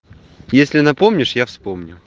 если напомнишь я вспомню